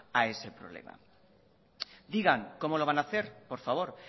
a ese problema digan cómo lo van a hacer por favor